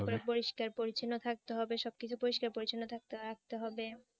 তারপরে পরিষ্কার পরিচ্ছন্ন থাকতে হবে সবকিছু পরিষ্কার পরিচ্ছন্ন থাকতে রাখতে হবে।